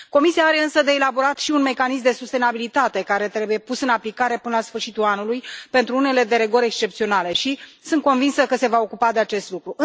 Comisia are însă de elaborat și un mecanism de sustenabilitate, care trebuie pus în aplicare până sfârșitul anului pentru unele derogări excepționale și sunt convinsă că se va ocupa de acest lucru.